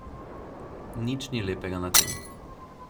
Nič ni lepega na tem.